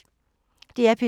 DR P3